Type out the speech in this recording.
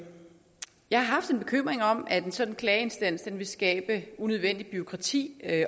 jeg har haft en bekymring om at en sådan klageinstans ville skabe unødvendigt bureaukrati